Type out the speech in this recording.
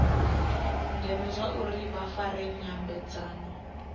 ndeme zwauri vha fare nyambedzano